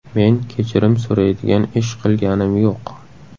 Men kechirim so‘raydigan ish qilganim yo‘q.